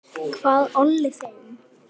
Hvað olli þeim?